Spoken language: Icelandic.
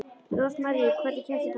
Rósmarý, hvernig kemst ég þangað?